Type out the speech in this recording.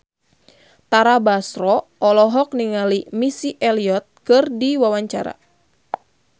Tara Basro olohok ningali Missy Elliott keur diwawancara